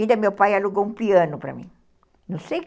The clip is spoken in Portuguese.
Ainda meu pai alugou um piano para mim